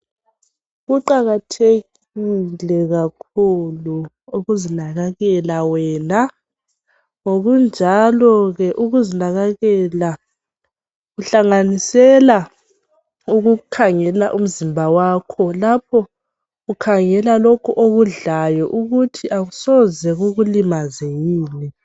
Kuqakathekile kakhulu ukuzinakakela wena ngokunjalo ke ukuzinakakela kuhlanganisela ukukhangela umzimba wakho lapho kukhangela lokhu okudlayo ukuthi akusoze kukulimaze yini